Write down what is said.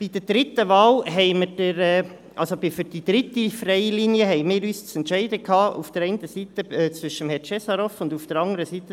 Bei der dritten freien Linie hatten wir uns zu entscheiden zwischen Herrn Cesarov auf der einen Seite und Frau von Arx auf der anderen Seite.